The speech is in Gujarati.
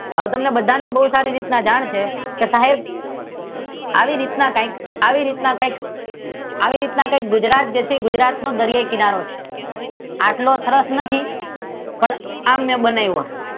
અને હવે તમને બધાને બહુ સારી રીતે જાણ છે કે સાહેબ આવી રીતના કઈક આવી રીતના કઈક આવી રીતના ગુજરાત છે જે ગુજરાતનો દરિયાઈ કિનારો છે આટલો સરસ નથી પણ આમ બનાવ્યો છે